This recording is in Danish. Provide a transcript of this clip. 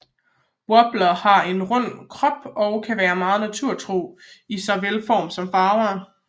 Woblere har en rund krop og kan være meget naturtro i såvel form som farver